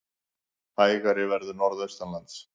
Hægari verður norðaustanlands